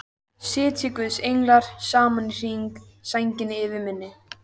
Sitji guðs englar saman í hring, sænginni yfir minni.